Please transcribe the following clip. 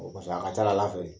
a ka c'a la Ala fɛ ye